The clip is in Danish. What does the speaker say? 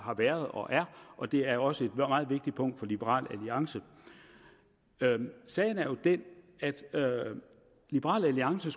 har været og er og det er også et meget vigtigt punkt for liberal alliance sagen er jo den at liberal alliance